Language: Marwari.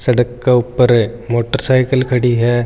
सड़क का ऊपर एक मोटर साइकिल खड़ी है।